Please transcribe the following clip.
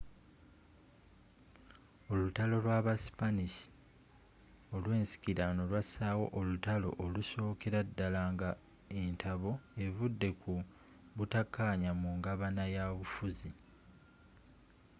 olutalo lw'aba spanish olwensikirano lwasaawo olutaalo olusookera ddala nga entabo evudde ku butakkaanya mu ngabanya y'obufuzi